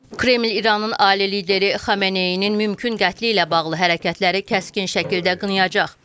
Kreml İranın ali lideri Xamneyinin mümkün qətli ilə bağlı hərəkətləri kəskin şəkildə qınayacaq.